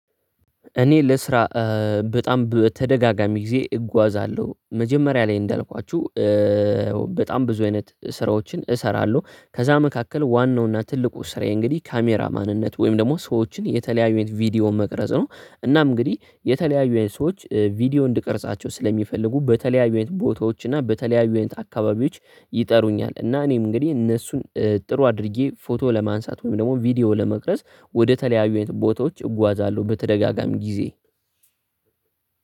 እኔ ለስራ በጣም በተደጋጋሚ ጊዜ እጓዛለሁ መጀመሪያ ላይ እንዳልኳችሁ። ብዙ አይነት ስራዎችን እሰራለሁ ከዛ መካከል ዋናው እና ትልቁ ስራዬ እንግዲህ ካሜራ ማንነት ወይም ደግሞ ሰዎችን የተለያዩን ቪዲዮ መቅረጽ ነው። እና እንግዲህ የተለያዩ አይነት ሰዎች ቪዲዮ እንድቀርጻቸው ስለሚፈልጉ በተለያዩ ቦታዎችና በተለያዩ አካባቢዎች ይጠሩኛል እና እኔም እንግዲህ እነሱን ጥሩ አድርጌ ፎቶ ለማንሳት ወይም ደግሞ ቪዲዮ ለመቅረጽ ወደ ተለያዩ ቦታዎች እጓዛለሁ በተደጋጋሚ ጊዜ።